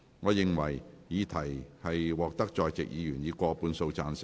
我認為議題獲得在席議員以過半數贊成。